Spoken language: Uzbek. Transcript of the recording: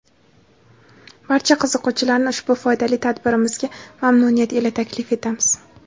Barcha qiziquvchilarni ushbu foydali tadbirimizga mamnuniyat ila taklif etamiz.